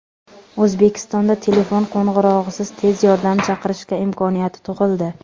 O‘zbekistonda telefon qo‘ng‘irog‘isiz tez yordam chaqirish imkoniyati tug‘ildi.